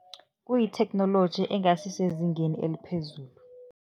Kuyitheknoloji engasisezingeni eliphezulu.